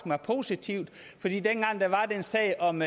mig positivt fordi dengang der var den sag om